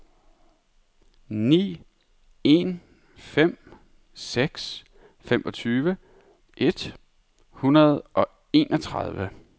ni en fem seks femogtyve et hundrede og enogtredive